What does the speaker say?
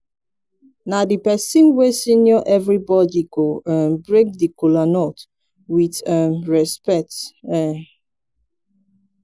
na di pesin wey senior evribodi go um break di kolanut with um respekt um